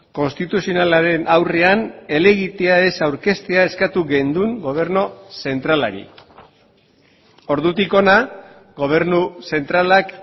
konstituzionalaren aurrean helegitea ez aurkeztea eskatu genuen gobernu zentralari ordutik hona gobernu zentralak